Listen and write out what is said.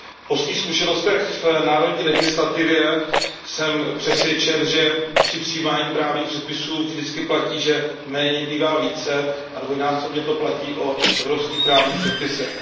Po svých zkušenostech v národní legislativě jsem přesvědčen, že při přijímaní právních předpisů vždy platí, že méně bývá více, a dvojnásobně to platí o evropských právních předpisech.